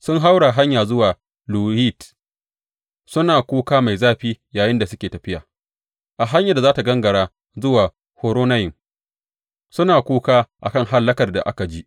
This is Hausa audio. Sun haura hanyar zuwa Luhit, suna kuka mai zafi yayinda suke tafiya; a hanyar da ta gangara zuwa Horonayim suna kuka a kan hallakar da aka ji.